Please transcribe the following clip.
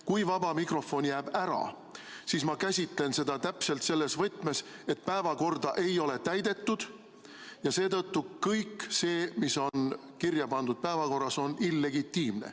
Kui vaba mikrofon jääb ära, siis ma käsitan seda täpselt selles võtmes, et päevakorda ei ole täidetud ja seetõttu kõik see, mis on kirja pandud päevakorras, on illegitiimne.